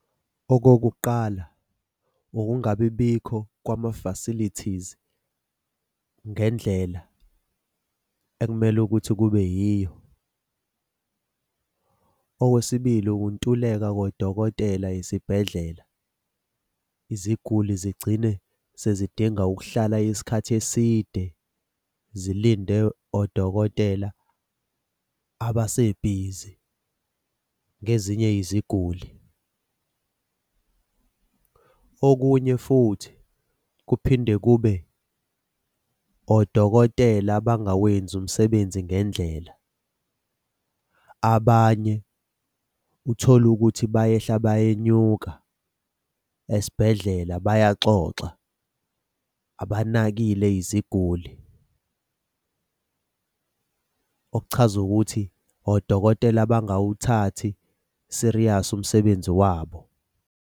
Okokuqala ungabi bikho kwama-facilities ngendlela ekumele ukuthi kube yiyo. Okwesibili ukuntuleka kodokotela esibhedlela, iziguli zigcine sezidinga ukuhlala isikhathi eside zilinde odokotela abasebhizi ngezinye iziguli. Okunye futhi kuphinde kube odokotela abangawenzi umsebenzi ngendlela. Abanye uthole ukuthi bayehla bayenyuka esibhedlela bayaxoxa abanakile iziguli. Okuchaza ukuthi odokotela abangawuthathi serious umsebenzi wabo.